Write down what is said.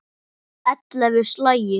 Ellefu slagir.